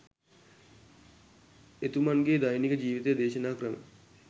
එතුමන් ගේ දෛනික ජීවිතය දේශනා ක්‍රම